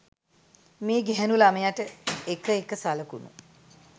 මේ ගැහැණු ළමයට එක එක සලකුණු